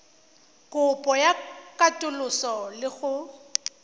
kopo ya katoloso le go